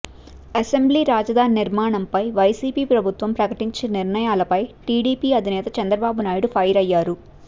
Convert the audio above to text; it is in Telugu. అసెంబ్లీ రాజధాని నిర్మాణంపై వైసీపీ ప్రభుత్వం ప్రకటించిన నిర్ణయాలపై టీడీపీ అధినేత చంద్రబాబు నాయుడు ఫైర్ అయ్యారు